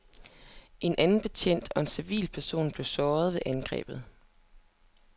En anden betjent og en civilperson blev såret ved angrebet.